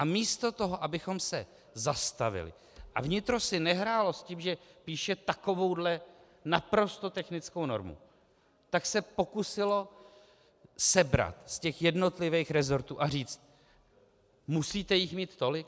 A místo toho, abychom se zastavili a vnitro si nehrálo s tím, že píše takovouhle naprosto technickou normu, tak se pokusilo sebrat z těch jednotlivých rezortů a říct: Musíte jich mít tolik?